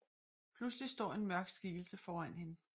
Pludselig står en mørk skikkelse foran hende